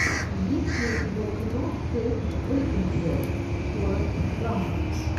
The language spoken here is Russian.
есть ли у тебя кино кейт бекинсейл форрест гамп